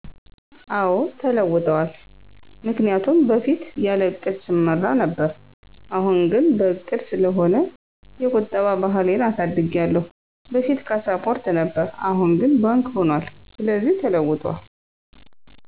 አወ ተለውጠዋል ምክንያቱም በፊት ያለ ዕቅድ ሰመራ ስለ ነበር አሁን ግን በዕቅድ ስለሆነ የቁጠባ ባህሌን አሳድጊያለሁ በፉት ካስፖርት ነበር አሁን ግን ባንክ ሁኑአል ስለዚህ ተለውጦል።